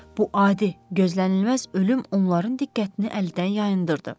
Bu adi, gözlənilməz ölüm onların diqqətini əlidən yayındırdı.